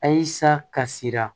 Ayisa ka sira